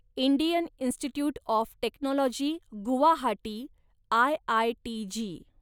Indian institute of technology Guwahati, IITG